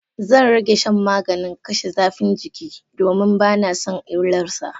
Zan rage shan maganin kashe zafin jiki, domin bana son illar sa.